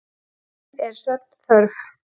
inn er svefnþörf.